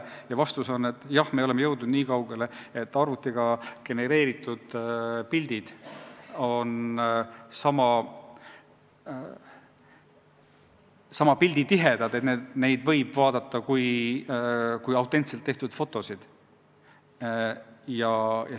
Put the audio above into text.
Ja vastus on, et jah, me oleme jõudnud niikaugele, et arvutiga genereeritud pildid on sama pilditihedad, nii et neid võib vaadata kui autentseid fotosid.